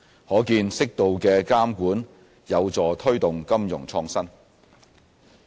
可見適度的監管有助推動金融創新。